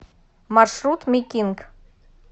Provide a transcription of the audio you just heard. маршрут ми кинг